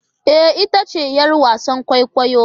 Ee! ita ce 'yar wasan kwaikwayo.